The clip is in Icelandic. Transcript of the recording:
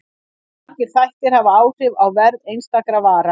Margir þættir hafa áhrif á verð einstakra vara.